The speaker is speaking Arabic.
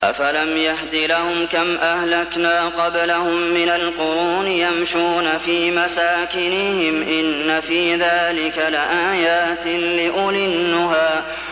أَفَلَمْ يَهْدِ لَهُمْ كَمْ أَهْلَكْنَا قَبْلَهُم مِّنَ الْقُرُونِ يَمْشُونَ فِي مَسَاكِنِهِمْ ۗ إِنَّ فِي ذَٰلِكَ لَآيَاتٍ لِّأُولِي النُّهَىٰ